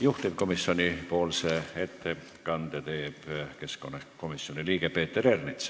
Juhtivkomisjoni ettekande teeb keskkonnakomisjoni liige Peeter Ernits.